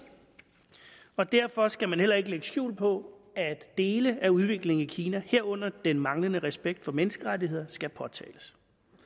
og derfor skal man heller ikke lægge skjul på at dele af udviklingen i kina herunder den manglende respekt for menneskerettigheder skal påtales